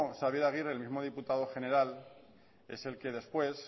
xabier aguirre el mismo diputado general es el que después